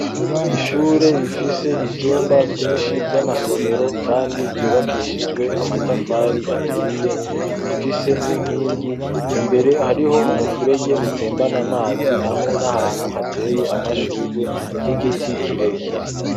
Ishure rifise ivyumba vyinshi vy'amasomero kandi vyubakishijwe amatafari aturiye, rifise n'inkingi, imbere hariho umufurege utembana amazi hamwe n'ahantu hateye amashugwe n'igiti kirekire.